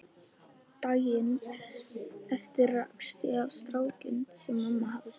Daginn eftir rakst ég á strákinn sem mamma hafði sagt